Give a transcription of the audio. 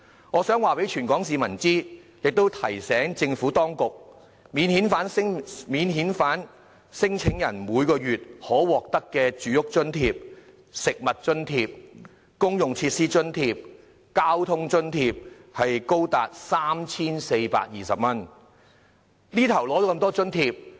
我想告訴全香港市民，亦提醒政府當局，免遣返聲請人每月可獲得的住屋津貼、食物津貼、公用設施津貼、交通津貼，是高達 3,420 元。